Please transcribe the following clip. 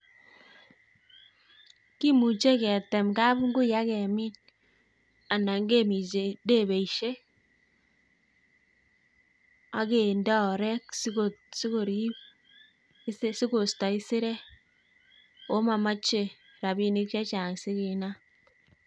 kimuche ketem kabungui ak kemin, anan keminyii debeisiek, ak kendee oreek sikoriib, sikoistoo esirek oko momoche rabinik chechang sikinaam